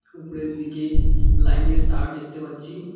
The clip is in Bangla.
উপরের দিকে লাইনের তার দেখতে পাচ্ছি।